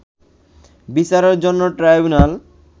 বিচারের জন্য ট্রাইব্যুনাল